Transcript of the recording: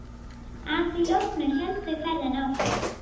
Að því loknu héldu þau ferðinni áfram.